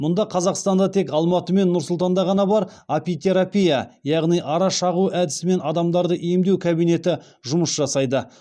мұңда қазақстанда тек алматы мен нұр сұлтанда ғана бар апитерапия яғни ара шағу әдісімен адамдарды емдеу кабинеті жұмыс жасайды